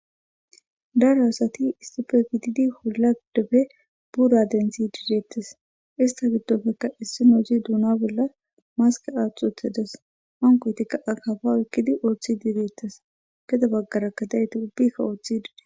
Daro asati issippe gididi olla giddoppe buura denththishe dettes izeta giddoppe issinozi dunna bolla maske aththidi uttides hankoyitikka akkafa oykiddi oththidi dettes gede baggarakka diyayti ubbikka oththidi dettess.